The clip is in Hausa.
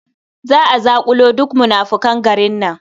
Za a zaƙulo duk munafukan garin nan.